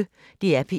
DR P1